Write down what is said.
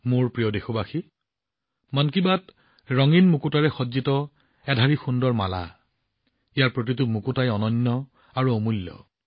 মোৰ প্ৰিয় দেশবাসী মন কী বাত ৰঙীন মুকুতাৰে সজ্জিত এক সুন্দৰ মালা প্ৰতিটো মুকুতা সঁচাকৈয়ে অনন্য আৰু অমূল্য